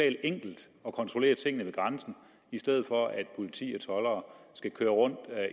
enkelt at kontrollere tingene ved grænsen i stedet for at politi og toldere skal køre rundt